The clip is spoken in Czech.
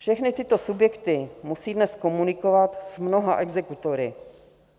Všechny tyto subjekty musí dnes komunikovat s mnoha exekutory.